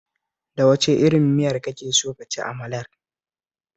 Da wace irin miya kake so ka ci amalar?